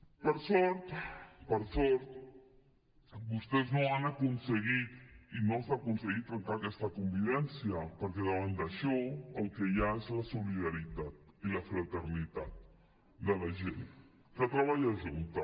per sort per sort vostès no han aconseguit i no s’ha aconseguit trencar aquesta convivència perquè davant d’això el que hi ha és la solidaritat i la fraternitat de la gent que treballa junta